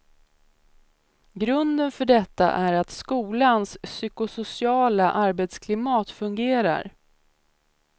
Grunden för detta är att skolans psykosociala arbetsklimat fungerar.